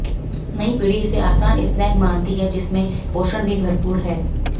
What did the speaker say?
नई पीढ़ी इसे आसान स्नैक मानती है जिसमें पोषण भी भरपूर है